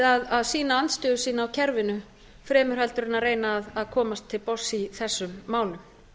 að sýna andstöðu sína á kerfinu fremur en reyna að komast til botns í þessum málum